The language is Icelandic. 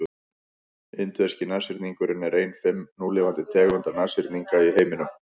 indverski nashyrningurinn er ein fimm núlifandi tegunda nashyrninga í heiminum